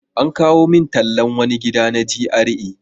An kawo min tallan wani gida na GRA.